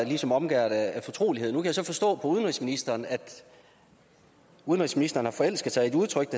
ligesom omgærdet af fortrolighed nu kan jeg så forstå på udenrigsministeren at udenrigsministeren har forelsket sig i et udtryk